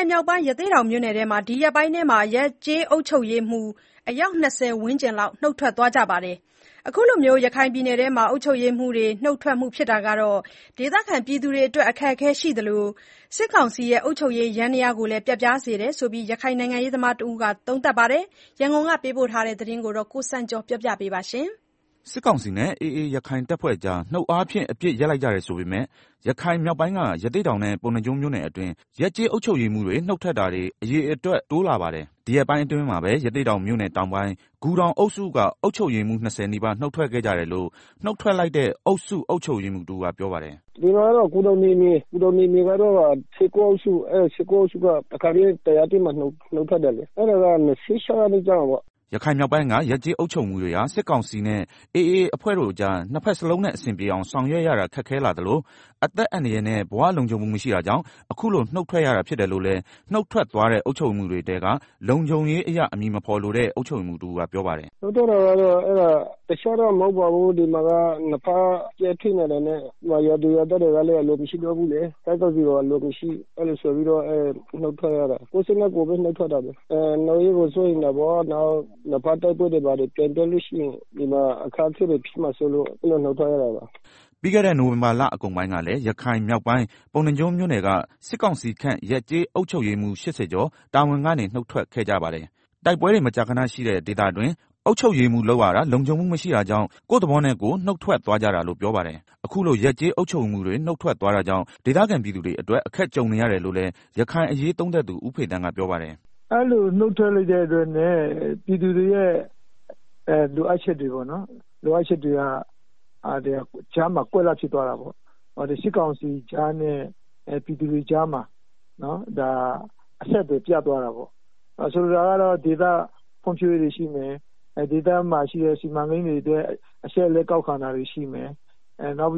င်မြောက်ပိုင်း ရသေ့တောင်မြို့နယ်တွင်း ဒီရက်ပိုင်း ရပ်ကျေးအုပ်ချုပ်ရေးမှူး ၂၀ ဝန်းကျင် နုတ်ထွက်သွားကြပါတယ်။ အခုလို ရခိုင်ပြည်နယ်တွင်း အုပ်ချုပ်ရေးမှူးတွေ နုတ်ထွက်မှုဟာ ဒေသခံပြည်သူတွေအတွက် အခက်အခဲရှိသလို စစ်ကောင်စီရဲ့အုပ်ချုပ်ရေးယန္တရားကိုလည်း ပျက်ပြားစေတယ်လို့ ရခိုင်နိုင်ငံရေးသမားတဦးက သုံးသပ်ပါတယ်။ ရန်ကုန်ကနေ ပေးပို့တဲ့သတင်းကု ကိုစံကျော်က တင်ပြပေးထားပါတယ်။ စစ်ကောင်စီနဲ့ AA ရခိုင်တပ်ဖွဲ့ကြား နှုတ်အားဖြင့် အပစ်ရပ်လိုက်ကြတယ်ဆိုပေမဲ့ ရခိုင်မြောက်ပိုင်းက ရသေ့တောင်နဲ့ ပုဏ္ဏားကျွန်းမြို့နယ်အတွင်း ရပ်ကျေးအုပ်ချုပ်ရေးမှူးတွေ နုတ်ထွက်တာတွေ အရေအတွက်တိုးလာပါတယ်။ ဒီရက်ပိုင်းအတွင်းမှာပဲ ရသေ့တောင်မြို့နယ်တောင်းပိုင်း ဂူတောင်အုပ်စုက အုပ်ချုပ်ရေးမှူး ၂၀ နီးပါး နုတ်ထွက်ခဲ့ကြတယ်လို့ နုတ်ထွက်လိုက်တဲ့ အုပ်စုအုပ်ချုပ်ရေးမှူးတဦးကပြောပါတယ်။ “ ဒါက ဂူတောင်နယ်မြေမှာရှိတဲ့ ၁၉ အုပ်စုက တခါတည်း တရက်တည်းမှာ နုတ်ထွက်တာပါ။ ၂၆ ရက်နေ့က နုတ်ထွက်တာပါ။” ရခိုင်မြောက်ပိုင်းက ရပ်ကျေးအုပ်ချုပ်ရေးမှူးတွေဟာ စစ်ကောင်စီနဲ့ AA အဖွဲ့တို့ကြား နှစ်ဖက်စလုံးနဲ့ အဆင်ပြေအောင် ဆောင်ရွက်ရတာ ခက်ခဲလာသလို အသက်အန္တရာယ်နဲ့ ဘဝလုံခြုံမှုမရှိတာကြောင့် အခုလိုနုတ်ထွက်ရတာဖြစ်တယ်လို့လည်း နုတ်ထွက်သွားတဲ့ အုပ်ချုပ်ရေးမှူးတွေထဲက လုံခြုံရေးအရ အမည်မဖော်လိုတဲ့ အုပ်ချုပ်ရေးမှူးတဦး ကပြောပါတယ်။ “ နုတ်ထွက်တာက တခြားတော့မဟုတ်ပါဘူး။ ဒီမှာက နှစ်ဘက်ကြားမှာ နေရတာ ကြပ်တည်းလာတာနဲ့ ရွာသူရွာသားတွေကလည်း အလိုမရှိတော့ဘူးလေ။ စစ်ကောင်စီကို အလိုမရှိ- အဲလို ဆိုပြီးတော့ နုတ်ထွက်ရတာ ကိုယ့်စိတ်နဲ့ကိုယ် ထွက်လိုက်တာ၊ နောင်ရေးကိုလည်း စိုးရိမ်တယ်။ နှစ်ဘက် တိုက်ပွဲတွေ ဘာတွေ ပြန်ဖြစ်လို့ရှိရင် အခက်အခဲဖြစ်လာမှာကို စိုးရိမ်လို့ နုတ်ထွက်ရတာပါ။” ပြီးခဲ့တဲ့ နိုင်ဝင်ဘာလအကုန်ပိုင်းကလည်း ရခိုင်မြောက်ပိုင်း ပုဏ္ဏားကျွန်းမြို့နယ်က စစ်ကောင်စီခန့် ရပ်ကျေးအုပ်ချုပ်ရေးမှူး ၈၀ ကျော် တာဝန်ကနေ နုတ်ထွက်ခဲ့ကြပါတယ်။ တိုက်ပွဲတွေ မကြာခဏရှိတဲ့ ဒေသတွင်း အုပ်ချုပ်ရေးမှူးလုပ်ရတာ လုံခြုံမှုမရှိတာကြောင့် ကိုယ့်သဘောနဲ့ကိုယ် နုတ်ထွက်သွားကြတာလို့ ပြောပါတယ်။ အခုလို ရပ်ကျေးအုပ်ချုပ်ရေးမှူးတွေ နုတ်ထွက်သွားတာကြောင့် ဒေသခံပြည်သူတွေအတွက် အခက်ကြုံရတယ်လို့လည်း ရခိုင်အရေးသုံးသပ်သူ ဦးဖေသန်းကပြောပါတယ်။ “ ဒီလိုနုတ်ထွက်လိုက်တဲ့ အတွက် ပြည်သူတွေရဲ့ လိုအပ်ချက်က ကြားမှာ ကွက်လပ်ဖြစ်သွားတောပေါ့၊ စစ်ကောင်စီကြားနဲ့ ပြည်သူတွေကြားမှာ အဆက်အသွယ်ပြတ်သွားတာပေါ့။ ဆိုလိုတာက ဒေသဖွံ့ဖြိုးရေးတွေရှိမယ်။ ဒေသမှာစီမံကိန်းတွေအတွက် အချက်အလက် ကောက်တာတွေရှိမယ်၊ နောက်